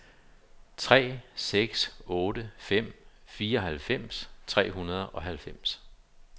tre seks otte fem fireoghalvfems tre hundrede og halvfems